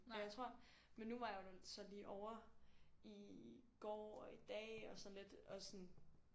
Og jeg tror men du var jeg der så lige over i går og i dag og sådan lidt og sådan